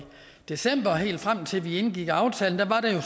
december og helt frem til vi indgik aftalen